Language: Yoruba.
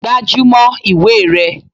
Gbájúmọ́ ìwé rẹ!